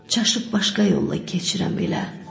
Çaşıb başqa yolla keçirəm elə.